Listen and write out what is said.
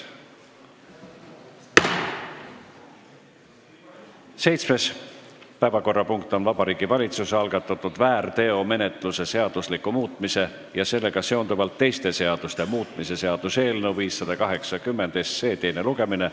Seitsmes päevakorrapunkt on Vabariigi Valitsuse algatatud väärteomenetluse seadustiku muutmise ja sellega seonduvalt teiste seaduste muutmise seaduse eelnõu 580 teine lugemine.